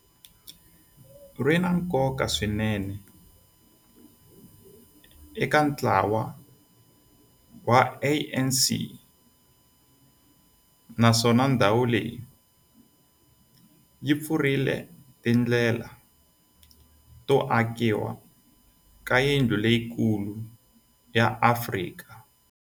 ri na nkoka swinene eka ntlawa wa ANC, naswona ndhawu leyi yi pfulrile tindlela to akiwa ka yindlu leyikulu ya Afrika